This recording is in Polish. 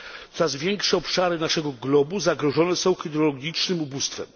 Coraz większe obszary naszego globu zagrożone są hydrologicznym ubóstwem.